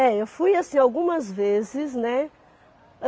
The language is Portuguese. É, eu fui assim algumas vezes, né?